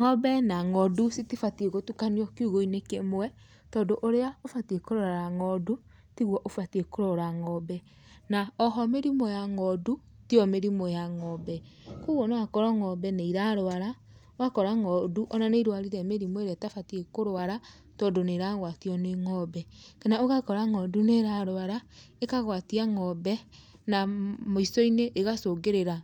Ng'ombe na ng'ondu citibatiĩ gũtukanio kiugũ-inĩ kĩmwe, tondũ ũrĩa ũbatiĩ kũrora ng'ondu tiguo ũbatiĩ kũrora ng'ombe. Na oho mĩrimũ ya ng'ondu tiyo mĩrimũ ya ng'ombe, kwogwo no akorwo ng'ombe nĩ irarwara, ũgakora ng'ondu ona nĩ irwarire mĩrimũ ĩrĩa ĩtabatiĩ kũrwara tondũ nĩ ĩragwatio nĩ ng'ombe , kana ũgakora ng'ondu nĩ ĩrarwara, ĩkagwatia ng'ombe, na mũico-inĩ ĩgacũngĩrĩra